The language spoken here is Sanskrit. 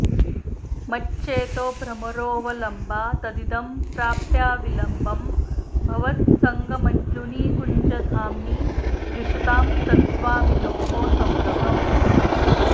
मच्चेतोभ्रमरोऽवलम्बा तदिदं प्राप्याविलम्बं भवत् सङ्गं मञ्जुनिकुञ्जधाम्नि जुषतां तत्स्वामिनोः सौरभम्